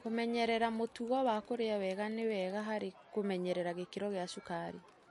Kũmenyera mũtugo wa kũrĩa wega nĩ wega harĩ kũnyerera gĩkĩro gia cukari.